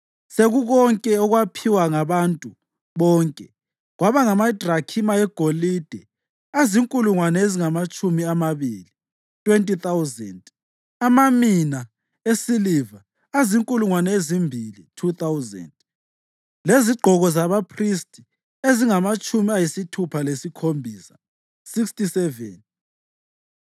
Sekukonke okwaphiwa ngabantu bonke kwaba ngamadrakhima egolide azinkulungwane ezingamatshumi amabili (20,000), amamina esiliva azinkulungwane ezimbili (2,000) lezigqoko zabaphristi ezingamatshumi ayisithupha lasikhombisa (67).